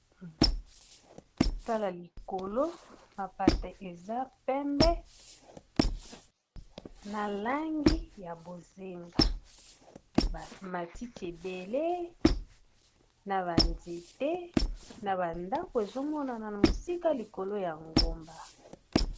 Tala likolo mapata eza pembe na langi ya bozinga matiti ebele na ba nzete na ba ndako ezomonana na mosika likolo ya ngomba.